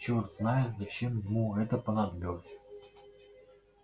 чёрт знает зачем ему это понадобилось